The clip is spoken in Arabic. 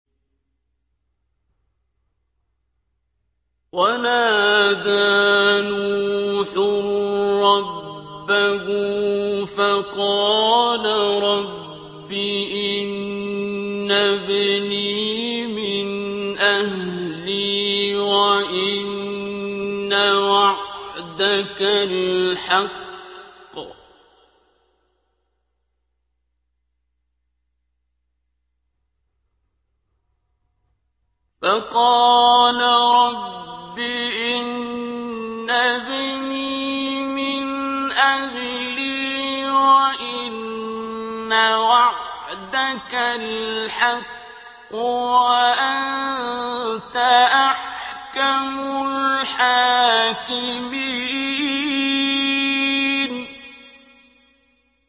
وَنَادَىٰ نُوحٌ رَّبَّهُ فَقَالَ رَبِّ إِنَّ ابْنِي مِنْ أَهْلِي وَإِنَّ وَعْدَكَ الْحَقُّ وَأَنتَ أَحْكَمُ الْحَاكِمِينَ